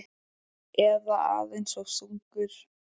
Eða aðeins of þungur?